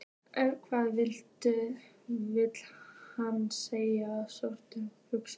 En hvað vill hann selja stóran hlut?